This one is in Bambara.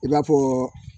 I b'a fɔ